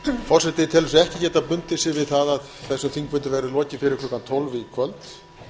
forseti telur sig ekki geta bundið sig við það að þessum þingfundi verði lokið fyrir klukkan tólf í kvöld